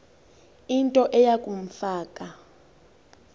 into eya kumfaka